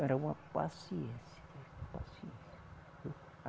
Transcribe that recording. Era uma paciência. Paciência.